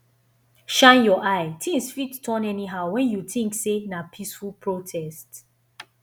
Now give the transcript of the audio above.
shine your eye tins fit turn anyhow when you tink sey na peaceful protest